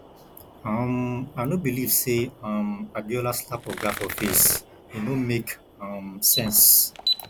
um i no believe say um abiola slap oga for face e no make um sense